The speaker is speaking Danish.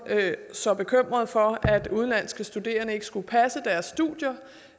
så bekymrede for at udenlandske studerende ikke skulle passe deres studier